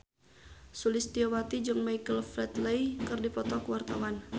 Sulistyowati jeung Michael Flatley keur dipoto ku wartawan